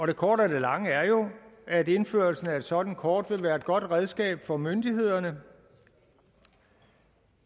det korte af det lange er jo at indførelsen af et sådant kort vil være et godt redskab for myndighederne